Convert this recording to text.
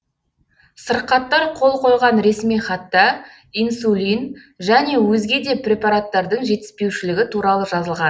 сырқаттар қол қойған ресми хатта инсулин және өзге де препараттардың жетіспеушілігі туралы жазылған